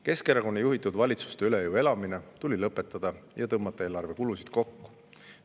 Keskerakonna juhitud valitsuste üle jõu elamine tuli lõpetada ja eelarvekulusid kokku tõmmata.